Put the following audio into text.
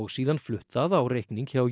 síðan flutt það á reikning hjá